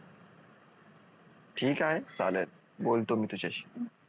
ठीक आहे चालेल बोलतो मी तुझ्याशी